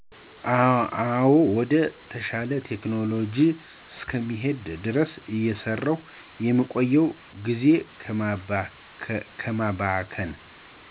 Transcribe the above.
አዎ ወደ ተሻለ ቴክኖሎጂ እስከምንሄድ ድረስ እየሰራን የምንቆይበት ጊዜን ከማባከን